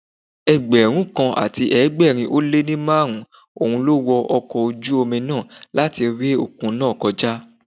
Ẹgbẹ̀rún kan àti ẹgbẹ̀rin ó lé ní márùn-ún ló wo ọkọ̀ ojú omi náà láti ré òkun náà kọjá.